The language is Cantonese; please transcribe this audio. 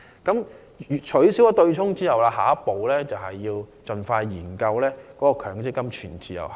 在取消對沖安排後，下一步是盡快研究強積金全自由行。